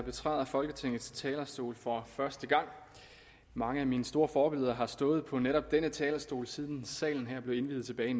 betræder folketingets talerstol for første gang mange af mine store forbilleder har stået på netop denne talerstol siden salen her blev indviet tilbage